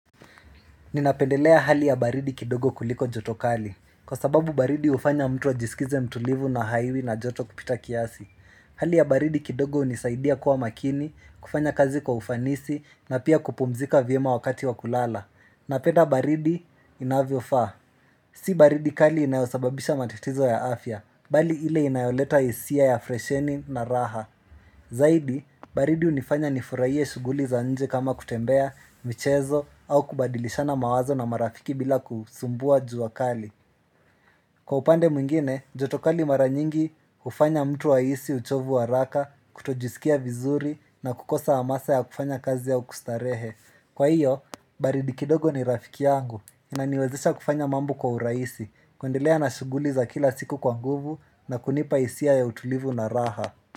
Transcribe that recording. Ninapendelea hali ya baridi kidogo kuliko joto kali, kwa sababu baridi hufanya mtu wa ajiskize mtulivu na haiwi na joto kupita kiasi Ninapendelea hali ya baridi kidogo kuliko joto kali, kwa sababu baridi hufanya mtu wa ajiskize mtulivu na haiwi na joto kupita kiasi Hali ya baridi kidogo unisaidia kuwa makini, kufanya kazi kwa ufanisi na pia kupumzika viema wakati wa kulala Napenda baridi inavyo faa Zaidi baridi hunifanya nifurahie shughuli za nje kama kutembea, michezo au kubadilishana mawazo na marafiki bili kusumbuana na jua kali. Kwa upande mwingine, joto kali mara nyingi ufanya mtu ahisi uchovu wa raka, kutojisikia vizuri na kukosa wa masa ya kufanya kazi ya ukustarehe Kwa hiyo, baridi kidogo ni rafiki yangu, inaniwezesha kufanya mambu kwa uraisi, kwendelea na shuguli za kila siku kwa nguvu na kunipa isia ya utulivu na raha.